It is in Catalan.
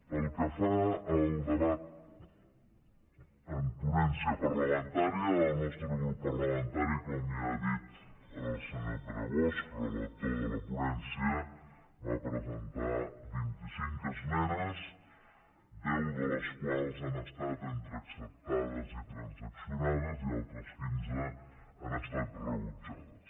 pel que fa al debat en ponència parlamentària el nostre grup parlamentari com ja ha dit el senyor pere bosch relator de la ponència va presentar vint i cinc esmenes deu de les quals han estat entre acceptades i transaccionades i altres quinze han estat rebutjades